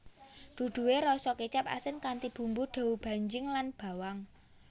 Duduhe rasa kecap asin kanthi bumbu doubanjiang lan bawang